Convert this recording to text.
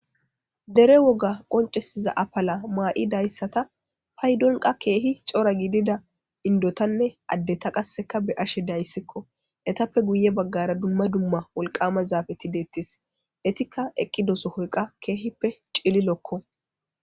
Dere woga qoncisiza apala may'idaysata paydonkka keehi cora gidida indotanne addeta qasseka be'ashe de'aysiko; etappe guye bagaara dumma dumma wolqama zafeeti deetees; eetika eqqido sohoy qa keehippe cililoko.